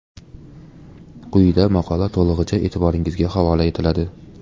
Quyida maqola to‘lig‘icha e’tiboringizga havola etiladi.